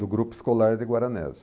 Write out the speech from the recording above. Do grupo escolar de Guaranésia.